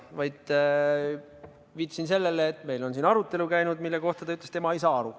Ma viitasin sellele, et meil on siin käinud arutelu, mille kohta ta ütles, et tema ei saa aru.